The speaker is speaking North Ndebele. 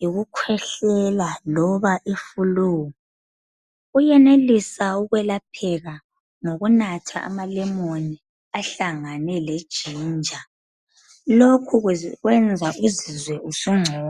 yikukhwehlela loba iflue uyenelisa ukwelapheka ngokunatha amalemoni ahlangane leginger lokhu kwenza uzizwe usungcono.